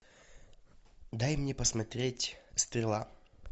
дай мне посмотреть стрела